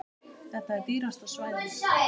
Þetta er dýrasta svæðið.